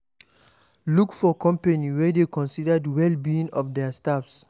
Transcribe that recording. Look for company wey dey consider the well being of their staff